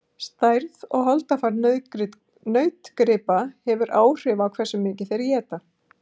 stærð og holdafar nautgripa hefur áhrif á hversu mikið þeir éta